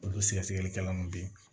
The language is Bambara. Olu sɛgɛsɛgɛlikɛla mun be yen